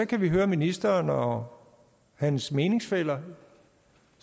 kan vi høre ministeren og hans meningsfæller